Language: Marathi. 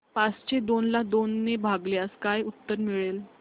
पाचशे दोन ला दोन ने भागल्यास काय उत्तर मिळेल